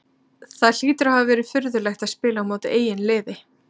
Það hlýtur að hafa verið furðulegt að spila á móti eigin liði?